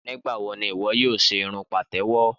Nígbàwo ni ìwọ yóò ṣe irun pàtẹ́wọ́?